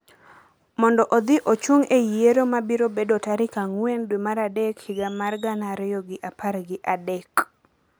mondo odhi ochung’ e yiero ma biro bedo tarik ang'wen dwe mar adek higa mar gana ariyo gi apar gi adek.